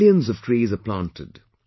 Millions of trees are planted